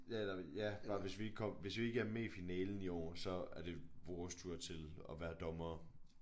Ja eller ja og hvis vi ikke kom hvis vi ikke er med i finalen i år så er det vores tur til at være dommere